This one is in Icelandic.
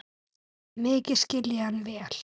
Mikið skil ég hann vel.